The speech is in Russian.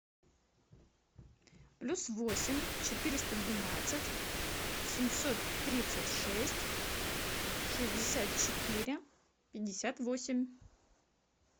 плюс восемь четыреста двенадцать семьсот тридцать шесть шестьдесят четыре пятьдесят восемь